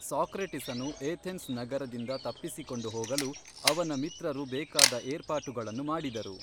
Socrates ಅನು Athens ನಗರದಿಂದ ತಪ್ಪಿಸಿಕೊಂಡು ಹೋಗಲು ಅವನ ಮಿತ್ರರು ಬೇಕಾದ ಏರ್ಪಾಟುಗಳನ್ನು ಮಾಡಿದರು